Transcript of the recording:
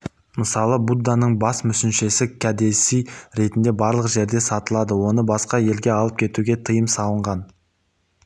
мысалы будданың бас мүсіншесі кәдесый ретінде барлық жерде сатылады оны басқа елге алып кетуге тыйым салынған